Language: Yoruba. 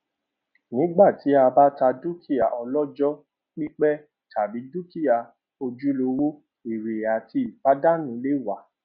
nígbà tí a bá ta dúkìá ọlọjọ pípẹ tàbí dúkìá ojúlówó ère àti ìpàdánù lè wà